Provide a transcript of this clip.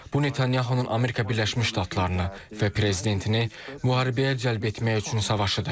Bu Netanyahunun Amerika Birləşmiş Ştatlarını və prezidentini müharibəyə cəlb etmək üçün savaşıdır.